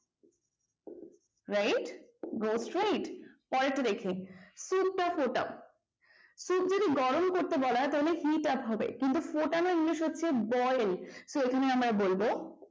right go straight পরেরটা দেখি soup টা ফুটাও soup যদি গরম করতে বলা হয় তাহলে heat up হবে কিন্তু ফোটানো english হচ্ছে boil তো এখানে আমরা বলব